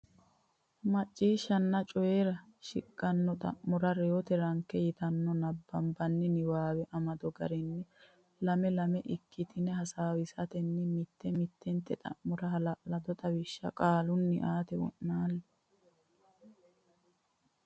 Macciishshanna Coyi ra Coyi ra shiqqino xa mora Reyote Ranke yitanno nabbambanni niwaawe amado garinni lame lame ikkitine hasaawatenni mitte mittente xa mora hala lado xawishsha qaalunni aate wo naalle.